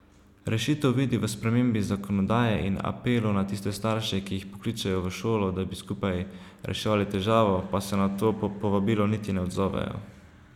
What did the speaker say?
Rešitev vidi v spremembi zakonodaje in apelu na tiste starše, ki jih pokličejo v šolo, da bi skupaj reševali težavo, pa se na to povabilo niti ne odzovejo.